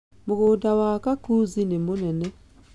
Mũgũnda wa kakuzi nĩ mũnene.